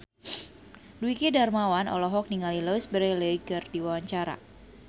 Dwiki Darmawan olohok ningali Louise Brealey keur diwawancara